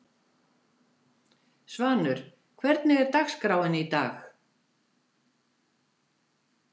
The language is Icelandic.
Svanur, hvernig er dagskráin í dag?